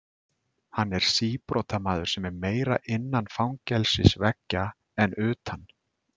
Hann er síbrotamaður sem er meira innan fangelsisveggja en utan.